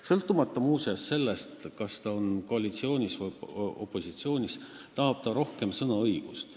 Sõltumata, muuseas, sellest, kas ta on koalitsioonis või opositsioonis, tahab ta rohkem sõnaõigust.